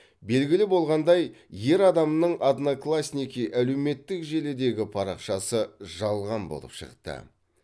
белгілі болғандай ер адамның одноклассники әлеуметтік желідегі парақшасы жалған болып шықты